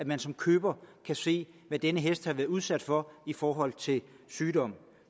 man som køber se hvad denne hest har været udsat for i forhold til sygdom